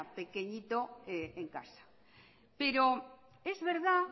pequeñito en casa pero es verdad